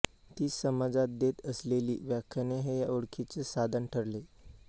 ती समाजात देत असलेली व्याख्याने हे या ओळखीचे साधन ठरले